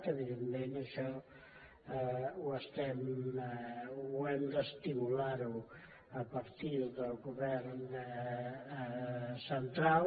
evidentment això ho hem d’estimular a partir del govern central